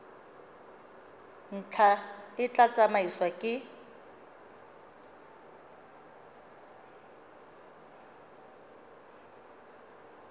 ntlha e tla tsamaisiwa ke